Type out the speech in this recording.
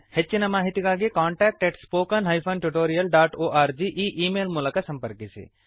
ಹೆಚ್ಚಿನ ಮಾಹಿತಿಗಾಗಿ contactspoken tutorialorg ಈ ಈ ಮೇಲ್ ಮೂಲಕ ಸಂಪರ್ಕಿಸಿ